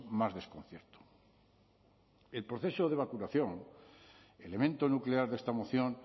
más desconcierto el proceso de vacunación elemento nuclear de esta moción